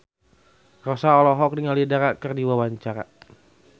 Rossa olohok ningali Dara keur diwawancara